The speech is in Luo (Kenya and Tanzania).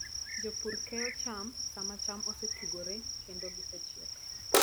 Jopur keyo cham sama cham osetugore kendo gichiek.